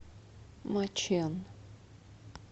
мачэн